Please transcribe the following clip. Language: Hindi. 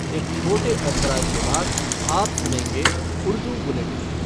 एक छोटे अंतराल के बाद आप सुनेंगे उर्दू बुलेटिन।